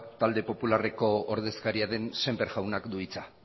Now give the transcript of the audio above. talde popularreko ordezkaria den sémper jaunak du hitza